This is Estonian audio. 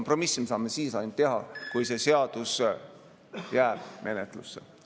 Aga seda me saame ainult siis teha, kui see seadus jääb menetlusse.